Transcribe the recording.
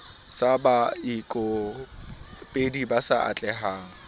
sa baikopedi ba sa atlehang